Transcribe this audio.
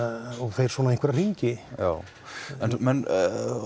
fer í einhverja hringi en menn